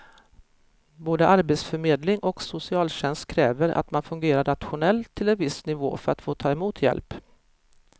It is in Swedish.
Både arbetsförmedling och socialtjänst kräver att man fungerar rationellt till en viss nivå för att få ta emot hjälp.